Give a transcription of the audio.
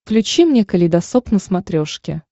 включи мне калейдосоп на смотрешке